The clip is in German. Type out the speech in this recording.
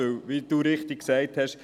Denn, wie Sie richtig gesagt haben: